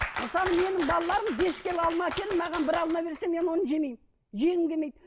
мысалы менің балаларым бес келі алма әкеліп маған бір алма берсе мен оны жемеймін жегім келмейді